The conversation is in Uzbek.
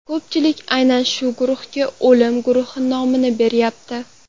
Ko‘pchilik aynan shu guruhga o‘lim guruhi nomini beryapti.